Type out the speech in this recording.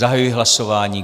Zahajuji hlasování.